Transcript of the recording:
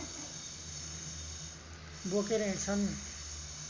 बोकेर हिँड्छन्